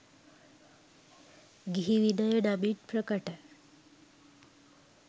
ගිහි විනය නමින් ප්‍රකට